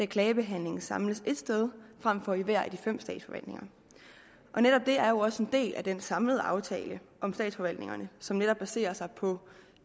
klagebehandlingen samles et sted frem for i hver af de fem statsforvaltninger netop det er jo også en del af den samlede aftale om statsforvaltningerne som netop baserer sig på